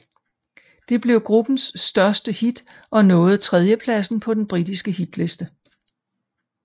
Det blev gruppens største hit og nåede tredjepladsen på den britiske hitliste